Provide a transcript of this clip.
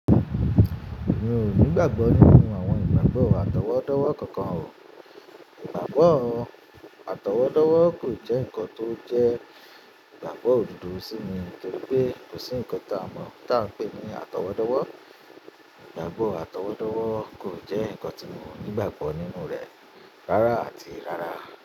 Mi ò ní ìgbàgbọ́ nínú àwọn ìgbàgbọ́ àtọwọ́dọ́wọ́ kankan o. Ìgbàgbọ́ àtọwọ́dọ́wọ́ kò jẹ́ ǹkan tó jẹ́ ìgbàgbọ́ òdodo sí mi nítorí pé kò sí ǹkan ta mọ̀ ta npe ní àtọwọ́dọ́wọ́. Ìgbàgbọ́ àtọwọ́dọ́wọ́ kò jẹ́ ǹkan tí mo ní ìgbàgbọ́ nínú rẹ́ rárá àti rárá.